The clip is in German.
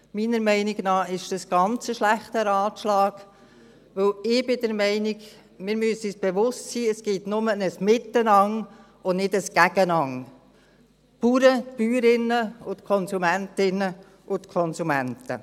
Meiner Meinung nach ist das ganz ein schlechter Ratschlag, denn ich bin der Meinung, wir müssen uns bewusst sein, es gibt nur ein Miteinander und nicht ein Gegeneinander: Bauern, Bäuerinnen und die Konsumentinnen und Konsumenten.